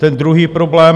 Ten druhý problém.